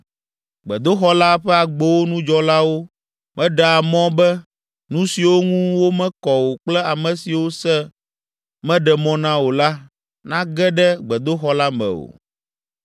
Gbedoxɔ la ƒe agbowo nu dzɔlawo meɖea mɔ be, nu siwo ŋu womekɔ o kple ame siwo se meɖe mɔ na o la, nage ɖe gbedoxɔ la me o.